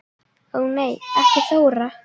Ó nei ekki Þóra